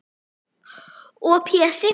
Og Pési